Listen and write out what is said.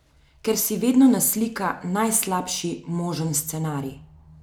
Ker si vedno naslika najslabši možen scenarij.